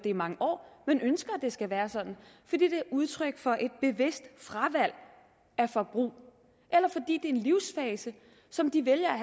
i mange år men ønsker at det skal være sådan fordi det er udtryk for et bevidst fravalg af forbrug eller fordi det en livsfase som de vælger at